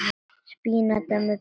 Spínat með perum